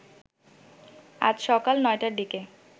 আজ সকাল ৯টার দিকে